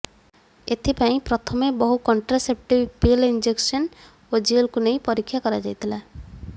ଏଥିପାଇଁ ପ୍ରଥମେ ବହୁ କଣ୍ଟ୍ରାସେପ୍ଟିଭ ପିଲ ଇଂଜେକ୍ସନ ଓ ଜେଲକୁ ନେଇ ପରୀକ୍ଷା କରାଯାଇଥିଲା